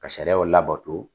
Ka sariyaw labɔto